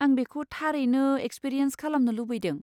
आं बेखौ थारैनो एक्सपिरियेन्स खालामनो लुबैदों।